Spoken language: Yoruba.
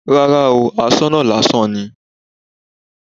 Rárá óò, asoná lásán ni